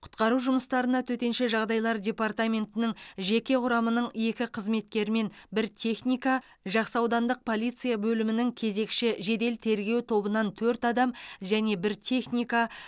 құтқару жұмыстарына төтенше жағдайлар департаментінің жеке құрамының екі қызметкері мен бір техника жақсы ауданды полиция бөлімінің кезекші жедел тергеу тобынан төрт адам және бір техника